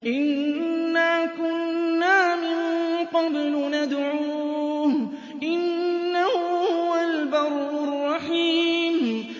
إِنَّا كُنَّا مِن قَبْلُ نَدْعُوهُ ۖ إِنَّهُ هُوَ الْبَرُّ الرَّحِيمُ